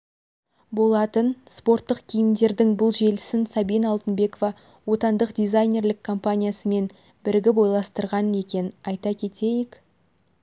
болатын спорттық киімдердің бұл желісін сабина алтынбекова отандық дизайнерлік компаниясымен бірігіп ойластырған екен айта кетейік